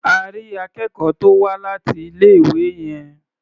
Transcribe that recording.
À rí akẹ́kọ̀ọ́ tó wá láti ilé-ìwé yẹn.